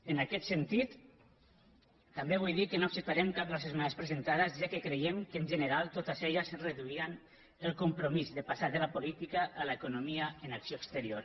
en aquest sentit també vull dir que no acceptarem cap de les esmenes presentades ja que creiem que en general totes elles reduïen el compromís de passar de la política a l’economia en acció exterior